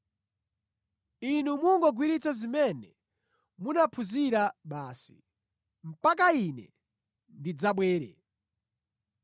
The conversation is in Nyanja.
Inu mungogwiritsa zimene munaphunzira basi, mpaka Ine ndidzabwere.